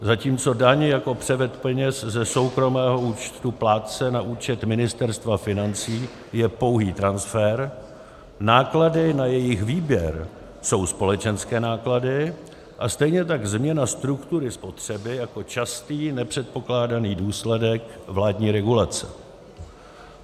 Zatímco daň jako převod peněz ze soukromého účtu plátce na účet Ministerstva financí je pouhý transfer, náklady na jejich výběr jsou společenské náklady a stejně tak změna struktury spotřeby jako častý nepředpokládaný důsledek vládní regulace.